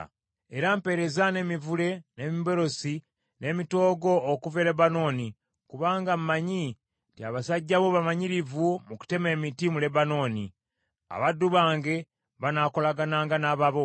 “Era mpeereza n’emivule, n’emiberosi, n’emitoogo okuva e Lebanooni, kubanga mmanyi nti abasajja bo bamanyirivu mu kutema emiti mu Lebanooni. Abaddu bange banaakolagananga n’ababo